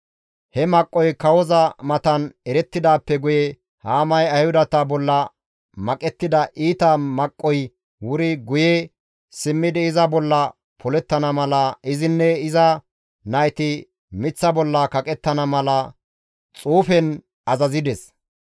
He maqqoy kawoza matan erettidaappe guye Haamay Ayhudata bolla maqettida iita maqqoy wuri guye simmidi iza bolla polettana mala izinne iza nayti miththa bolla kaqettana mala xuufen azazides.